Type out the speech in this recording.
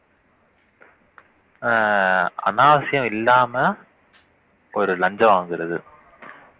அஹ் அநாவசியம் இல்லாம ஒரு லஞ்சம் வாங்குறது